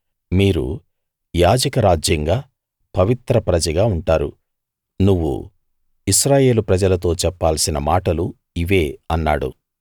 మీరు యాజక రాజ్యంగా పవిత్రప్రజగా ఉంటారు నువ్వు ఇశ్రాయేలు ప్రజలతో చెప్పాల్సిన మాటలు ఇవే అన్నాడు